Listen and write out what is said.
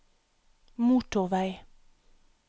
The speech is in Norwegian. motorvei